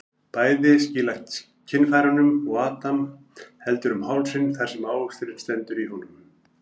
Bæði skýla kynfærunum og Adam heldur um hálsinn þar sem ávöxturinn stendur í honum.